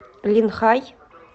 линхай